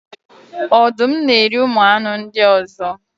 ọdụm na-eri ụmụ anụ ndị ọzọ.